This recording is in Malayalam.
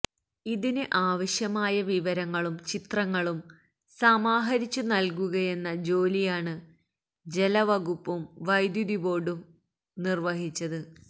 ഇതിന് ആവശ്യമായ വിവരങ്ങളും ചിത്രങ്ങളും സമാഹരിച്ചു നല്കുകയെന്ന ജോലിയാണ് ജലവകുപ്പും വൈദ്യുതിബോര്ഡും നിര്വഹിച്ചത്